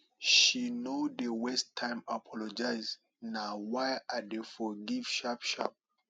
she no dey waste time apologize na why i dey forgive sharp sharp